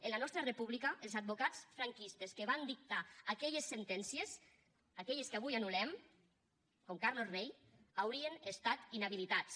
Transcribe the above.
en la nostra república els advocats franquistes que van dictar aquelles sentències aquelles que avui anul·lem com carlos rey haurien estat inhabilitats